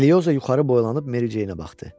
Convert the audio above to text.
Elioza yuxarı boylanıb Mericeyə baxdı.